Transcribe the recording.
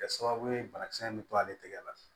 Kɛ sababu ye banakisɛ in bɛ to ale tigɛ la